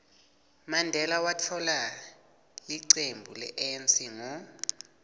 mandela watfola licembu le anc ngo